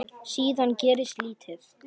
Síðan gerist lítið.